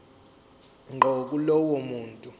ngqo kulowo muntu